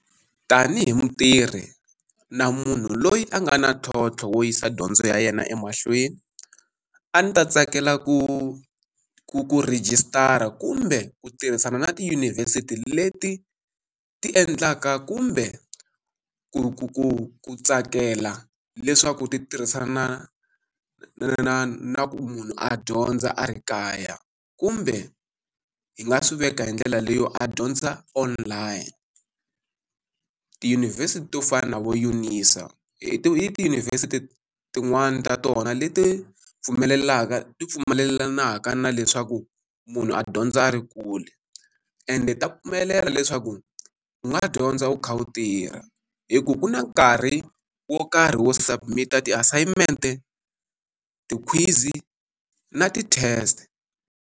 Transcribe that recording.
Tanihi mutirhi na munhu loyi a nga na ntlhontlho wo yisa dyondzo ya yena emahlweni, a ndzi ta tsakela ku ku ku rejistara kumbe ku tirhisana na tiyunivhesiti leti ti endlaka kumbe ku ku ku ku tsakela leswaku ti tirhisana na na ku munhu a dyondza a ri kaya. Kumbe hi nga swi veka hi ndlela leyiwani a dyondza online. Tiyunivhesiti to fana na vo UNISA, i ti tiyunivhesiti tin'wani ta tona leti pfumelelaka ti pfumelelaka na leswaku munhu a dyondza a ri kule. Ende ta pfumelela leswaku u nga dyondza u kha u tirha. Hi ku ku na nkarhi wo karhi wo submit-a, ti-assignment-e, ti-quiz-i, na ti-test.